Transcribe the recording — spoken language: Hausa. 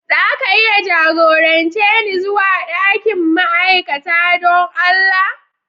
Za ka iya jagorance ni zuwa dakin ma'aikata don Allah?